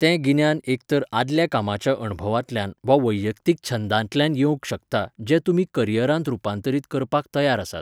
तें गिन्यान एक तर आदल्या कामाच्या अणभवांतल्यान वा वैयक्तीक छंदांतल्यान येवंक शकता जें तुमी करिअरांत रुपांतरीत करपाक तयार आसात.